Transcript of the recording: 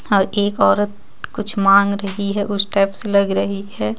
और एक औरत कुछ मांग रहि हे उस टाइप से लग रही हे.